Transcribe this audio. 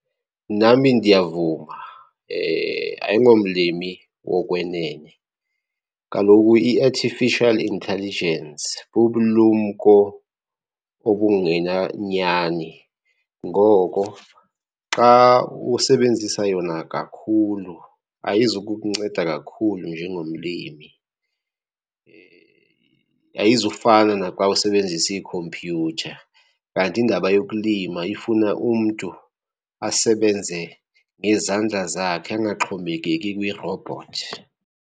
Nami ndiyavuma, ayingomlimi wokwenene. Kaloku i-artificial intelligence bubulumko obungena nyani ngoko xa usebenzisa yona kakhulu ayizukukunceda kakhulu njengomlimi. Ayizufana naxa usebenzisa ikhompyutha, kanti indaba yokulima ifuna umntu asebenze ngezandla zakhe angaxhomekeki kwirobhothi.